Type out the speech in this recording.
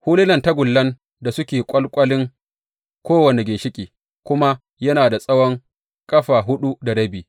Hulunan tagullan da suke ƙwalƙwalin kowane ginshiƙi kuma yana da tsawon ƙafa huɗu da rabi.